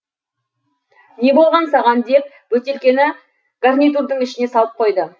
не болған саған деп бөтелкені гарнитурдың ішіне салып қойды